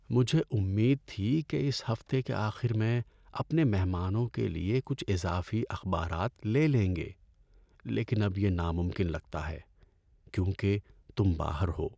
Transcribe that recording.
مجھے امید تھی کہ اس ہفتے کے آخر میں اپنے مہمانوں کے لیے کچھ اضافی اخبارات لے لیں گے لیکن اب یہ ناممکن لگتا ہے کیونکہ تم باہر ہو۔